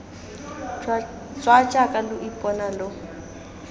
tswa jaaka lo ipona lo